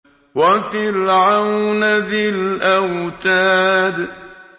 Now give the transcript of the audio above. وَفِرْعَوْنَ ذِي الْأَوْتَادِ